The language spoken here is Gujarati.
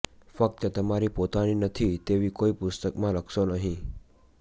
ફક્ત તમારી પોતાની નથી તેવી કોઈ પુસ્તકમાં લખશો નહીં